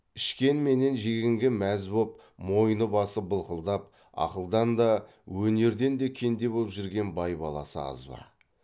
ішкен менен жегенге мәз боп мойны басы былқылдап ақылдан да өнерден де кенде боп жүрген бай баласы аз ба